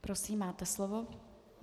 Prosím, máte slovo.